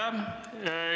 Aitäh!